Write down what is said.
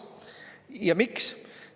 Ja miks?